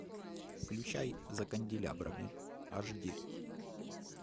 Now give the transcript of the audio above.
включай за канделябрами аш ди